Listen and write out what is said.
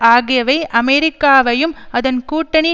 ஆகியவை அமெரிக்காவையும் அதன் கூட்டணி